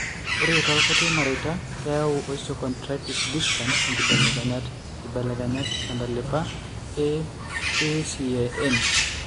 Ore toorkuti mareita, keyau eosteochondritis dissecans inkibelekenyat (inkibelekenyat) tentalipa eACAN.